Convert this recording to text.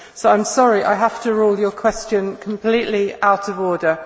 I am sorry, but I have to rule your question completely out of order.